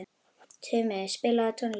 Tumi, spilaðu tónlist.